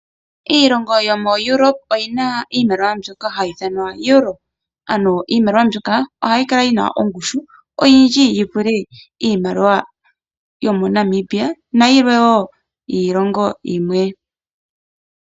Iilongo yomo Europe oyina iimaliwa mbyoka hayi ithanwa Euro . Ano iimaliwa mbyoka ohayi kala yina ongushu oyindji yivule iimaliwa yomo Namibia nayimwe woo yiilongo yilwe.